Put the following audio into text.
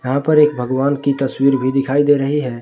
यहां पर एक भगवान की तस्वीर भी दिखाई दे रही है।